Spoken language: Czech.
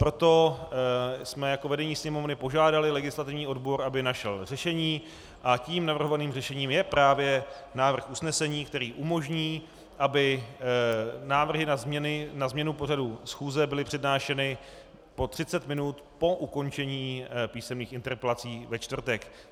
Proto jsme jako vedení Sněmovny požádali legislativní odbor, aby našel řešení, a tím navrhovaným řešením je právě návrh usnesení, který umožní, aby návrhy na změnu pořadu schůze byly přednášeny po 30 minut po ukončení písemných interpelací ve čtvrtek.